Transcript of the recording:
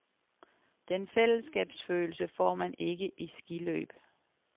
Den fællesskabsfølelse får man ikke i skiløb.